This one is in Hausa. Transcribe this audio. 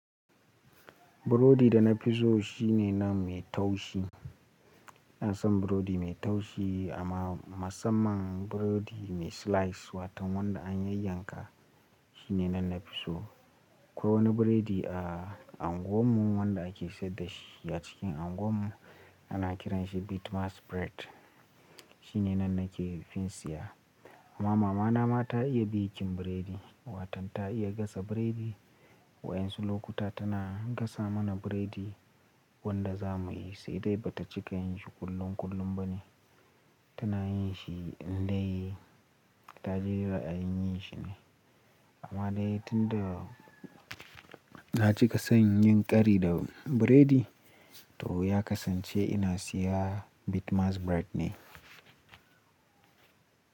Burodi da nafi so shine nan mai taushi. Ina son burodi mai taushi amma musamman burodi mai slice wato wanda an yayyanka shine nan nafi so. Akwai wani burodi a unguwar mu wanda ake sayar dashi a cikin unguwar mu ana kiranshi Bitmas Bread shine na nake fin saya. Amma mamana ma ta iya baking burodi, waton ta iya gasa burodi wa'yansu lokuta tana gasa mana burodi wanda za muyi sai dai bata cika yin shi kullum kullum bane tana yin shi in dai ta ji ra'ayin yin shi ne. Amma dai tunda na cika son yin kari da burodi, to ya kasance ina sayan Bitmas Bread ne.